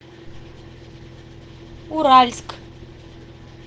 уральск